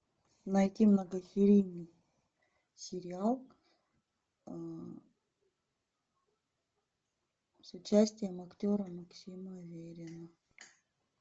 найти многосерийный сериал с участием актера максима аверина